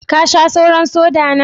Ka Sha sauran "soda" na?